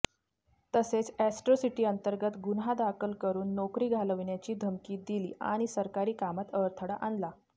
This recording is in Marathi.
तसेच अॅट्रॉसिटी अंतर्गत गुन्हा दाखल करुन नोकरी घालवण्याची धमकी दिली आणि सरकारी कामात अडथळा आणला